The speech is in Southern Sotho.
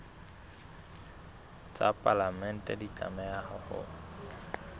tsa palamente di tlameha ho